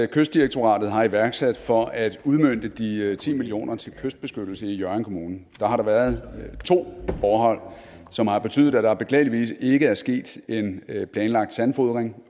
kystdirektoratet har iværksat for at udmønte de ti million kroner til kystbeskyttelse i hjørring kommune har der været to forhold som har betydet at der beklageligvis ikke er sket en planlagt sandfodring